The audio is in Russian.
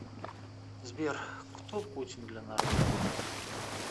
сбер кто путин для народа